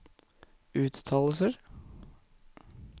uttalelser